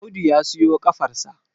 Audu ya siyo kafar sa